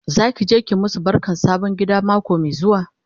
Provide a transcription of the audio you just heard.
Zaki je ki masu barkan sabon gida mako Mai zuwa?